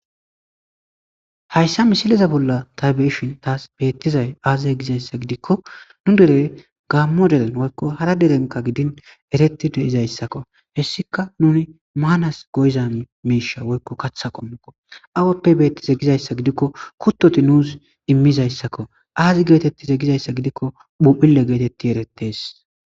Hayssa misileza bolla tabeyishin taas beettizay aazize gizayssa gidikko nu derey gaammo delen woykko hara derenka gidin eretti de7izayssakko hessika nuni maanas goyza meesha woykko katha qommikko awappe beetti zegizayssa gidikko kuttoti nuus immizayssakko aazi geetetti zegizayssa gidikko phuphile geetetti erettees.